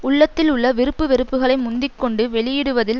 உள்ளத்தில் உள்ள விருப்பு வெறுப்புகளை முந்தி கொண்டு வெளியிடுவதில்